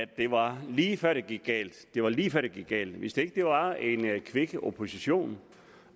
det var lige før det gik galt det var lige før det gik galt hvis ikke der var en kvik opposition